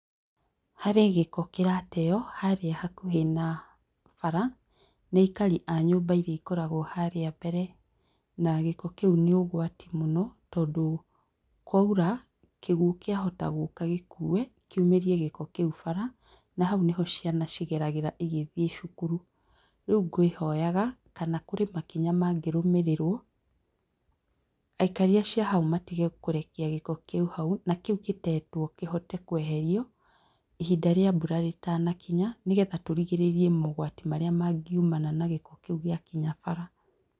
Harĩ gĩko kĩrateo harĩa hakuhĩ na bara nĩ aikari a nyũmba iria ikoragwo harĩa mbere na gĩko kĩu nĩ ũgwati mũno tondũ kwaura kĩguo kĩahota gũka gĩkue kĩumĩrie gĩko kĩu bara na hau nĩho ciana cigeragĩra cigĩthiĩ cukuru rĩu ngwĩhoyaga kana kũrĩ makinya mangĩrũmĩrĩrwo aikari acio a hau matige kũrekia gĩko kĩu hau na kĩri gĩtetwo kĩhote kweherio ihinda rĩa mbura rĩtanakinya nĩgetha tũrigĩrĩrie mogwati marĩa mangiumana na gĩko kĩu gĩa kinya bara.